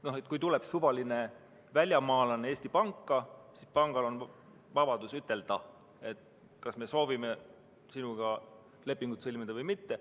Kui Eesti panka tuleb suvaline välismaalane, siis pangal on vabadus ütelda, kas ta soovib temaga lepingut sõlmida või mitte.